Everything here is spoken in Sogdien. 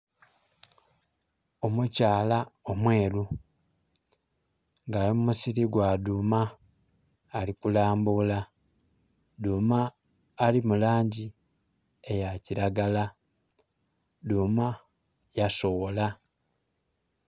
Omukyala omweru nga ali mu musili gwa dhuma ali kulambula dhuma ali mulangi eya kiragala, dhuma ya soghola.